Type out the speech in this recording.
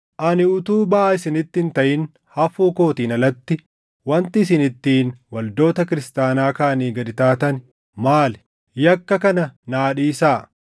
Ani utuu baʼaa isinitti hin taʼin hafuu kootiin alatti wanti isin ittiin waldoota kiristaanaa kaanii gad taatan maali? Yakka kana naa dhiisaa!